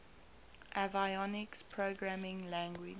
avionics programming language